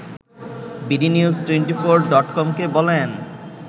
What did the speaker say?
BD news twenty four ডটকমকে বলেন